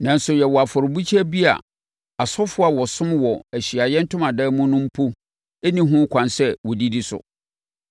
Nanso yɛwɔ afɔrebukyia bi a Asɔfoɔ a wɔsom wɔ Ahyiaeɛ Ntomadan mu no mpo nni ho ɛkwan sɛ wɔdidi so.